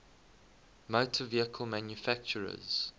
motor vehicle manufacturers